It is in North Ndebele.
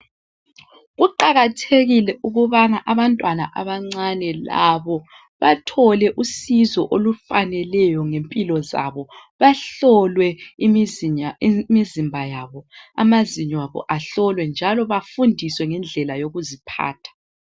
Kuqakathekile ukubana abantwana abancane labo bathole usizo olufaneleyo ngempilo zabo bahlolwe imizimba yabo, amazinyo abo ahlolwe njalo bafundiswe ngendlela yokuziphatha.